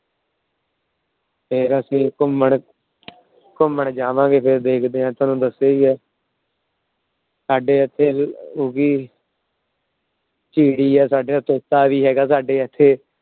ਫੇਰ ਅਸੀਂ ਘੁੰਮਣ ਘੁੰਮਣ ਜਾਵਾਂਗੇ। ਫੇਰ ਦੇਖਦੇ ਆ ਤੁਹਾਨੂੰ ਦੱਸਿਆ ਈ ਐ। ਸਾਡੇ ਇੱਥੇ